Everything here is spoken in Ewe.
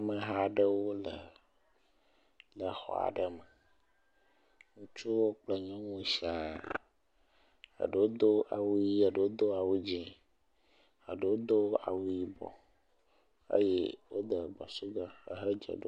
Ameha 'ɖewo le le zɔa 'ɖe me, ŋutsuwo kple nyɔnuwo siãa. Eɖewo do awu yɛlo eɖewo do awu dzĩ eɖewo do awu yibɔ eye wode basiga he dze ɖom.